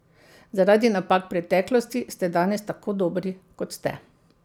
Zaradi napak preteklosti ste danes tako dobri, kot ste.